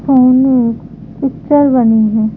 Picture बनी है।